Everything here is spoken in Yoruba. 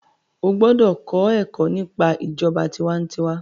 o gbódò kọ Èkó nípa ìjọba tiwantiwa.